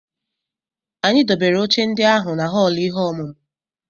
Anyị dobere oche ndị ahụ na họọlụ ihe ọmụmụ.